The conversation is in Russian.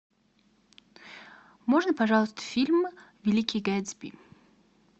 можно пожалуйста фильм великий гэтсби